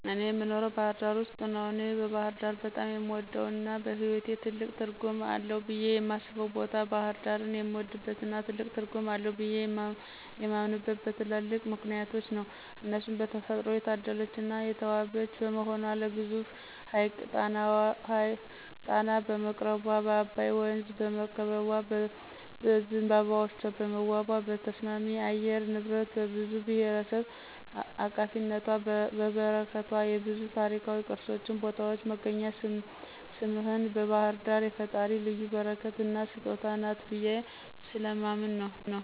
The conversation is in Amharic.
እኔ የኖረው ባህርዳር ውስጥ ነው። እኔ ባህርዳር በጣም የምወደው እና በህይዎቴ ትልቅ ትርጉም አለው ብየ የማስበው ቦታ ነው። ባሕርዳርን የምወድበትና ትልቅ ትርጉም አለው ብየ የማምነበት በትላልቅ ምክንያቶች ነው እነርሱም በተፈጥሮ የታደለች እና የተዋበች በመሆኗ ለግዙፉ ሀይቅ ጣና በመቅረቧ፣ በአባይ ወንዝ በመከበቧ፣ በዝንባባዎቿ በመዋቧ፣ በተስማሚ የአየር ንብረቷ፣ በብዙ ብሔርብሔረሰብ አቃፊነቷና በረከቷ፣ የብዙ ታሪካዊ ቅርሶችን ቦታዎች መገኛ ስምህን ባህርዳር የፈጣሪ ልዩ በረከትና ስጦታ ናት ብየ ስለማምን ነው።